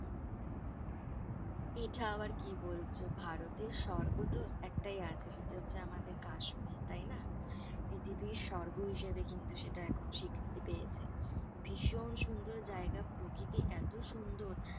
এটা আবার কি বলছো ভারতের সর্গ তো একটাই আছে সেটা হচ্ছে যে আমাদের কাশ্মির তাই না। পৃথিবীর সর্গ হিসাবে সেটা কিন্তু এখন স্বীকৃতি পেয়েছে। ভীষন সুন্দর জায়গা, প্রকৃতি এত সুন্দর,